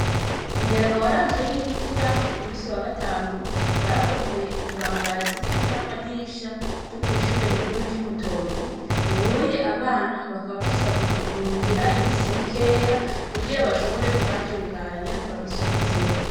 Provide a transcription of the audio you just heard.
Umuyaga waranzwe n'imvura ku musi wa gatanu warabomoye ibibambazi hamwe n'amadirisha ryo kw'ishureraikuru ry'imutoyi ubuye abana bakaba basabwa kuguma muhira imisi mikeya kugira bashobore kuhatunganya babisubizeho.